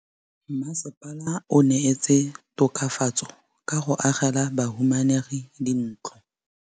Mmasepala o neetse tokafatsô ka go agela bahumanegi dintlo.